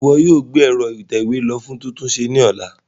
Ṣe iwọ yoo gbe ẹ̀ro itẹwe lo fun titunṣe ni ọla?